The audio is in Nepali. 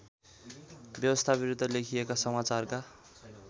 व्यवस्थाविरुद्ध लेखिएका समाचारका